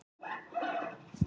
Stingur upp í hann góðgæti.